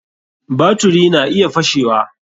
Baturi na iya fashewa.